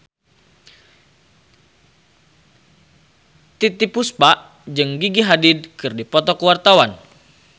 Titiek Puspa jeung Gigi Hadid keur dipoto ku wartawan